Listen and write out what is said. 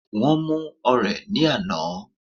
Wón mú ọ̀rẹ̀ ní àná